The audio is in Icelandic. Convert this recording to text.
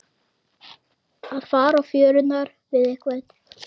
Að fara á fjörurnar við einhvern